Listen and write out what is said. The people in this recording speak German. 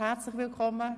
Herzlich willkommen!